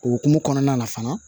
O hokumu kɔnɔna na fana